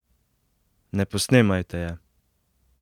Ne posnemajte je!